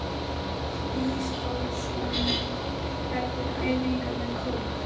Páll Ísólfsson heldur æfingu með kór.